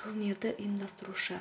турнирді ұйымдастырушы